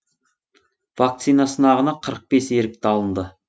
вакцина сынағына қырық бес ерікті алынды